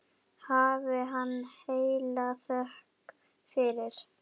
Hafi hann heila þökk fyrir.